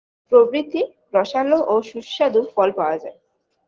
প্রভৃতি রসালো ও সুস্বাদু ফল পাওয়া যায়